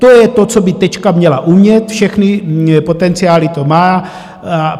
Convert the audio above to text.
To je to, co by Tečka měla umět, všechny potenciály to má.